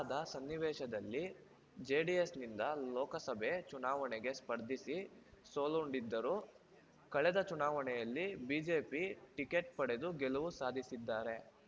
ಅದ ಸನ್ನಿವೇಶದಲ್ಲಿ ಜೆಡಿಎಸ್‌ ನಿಂದ ಲೋಕಸಭೆ ಚುನಾವಣೆಗೆ ಸ್ಪರ್ಧಿಸಿ ಸೋಲುಂಡಿದ್ದರು ಕಳದೆ ಚುನಾವಣೆಯಲ್ಲಿ ಬಿಜೆಪಿ ಟಿಕೆಟ್‌ ಪಡೆದು ಗೆಲವು ಸಾಧಿಸಿದ್ದಾರೆ